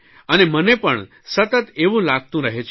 અને મને પણ સતત એવું લાગતું રહે છે